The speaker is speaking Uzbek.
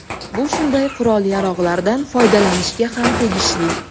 Bu shunday qurol-yarog‘lardan foydalanishga ham tegishli”.